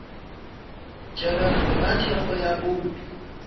tšerwego ka thekgo ya bouto